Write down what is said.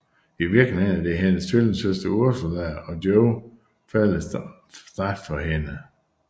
I virkeligheden er det hendes tvillingesøster Ursula og Joey falder straks for hende